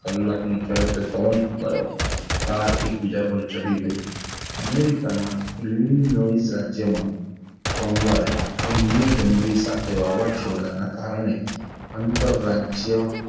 કલાકની ઝડપે પવન ફુકાયો car એકબીજા પર ચડી ગયી અમેરિકાના રાજયમાં સોમવારે ધૂળની ડમરી સાથે વાવાઝોડાના કારણે આંતરરાજય,